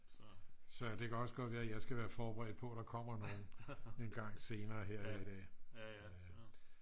så det kan også godt være at jeg skal være forberedt på at der kommer nogen engang senere her i dag